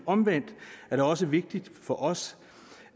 omvendt er det også vigtigt for os